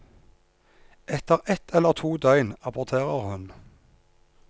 Etter ett eller to døgn aborterer hun.